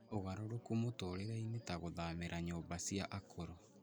ũgarũrũku mũtũũrĩre-inĩ ta gũthamĩra nyũmba cia akũrũ.